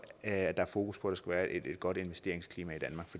at der er fokus på at der skal være et godt investeringsklima